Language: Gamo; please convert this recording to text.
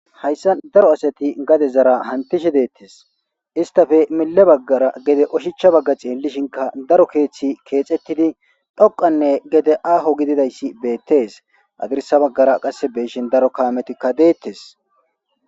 Hayssa daro asati gade zara hantishe deettes istafe mille baggara gede oshicha bagga xiellishinka daro keeththi keexettidi dhoqanne gede aaho gididayssi beettes adirsa baggara qasse beshin daro kaametikka deettes.